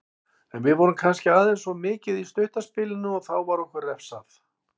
En við vorum kannski aðeins of mikið í stutta spilinu og þá var okkur refsað.